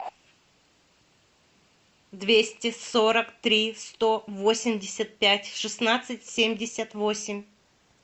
двести сорок три сто восемьдесят пять шестнадцать семьдесят восемь